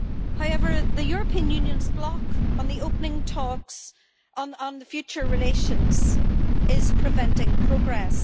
However, the European Union's block on opening talks on the future relations is preventing progress.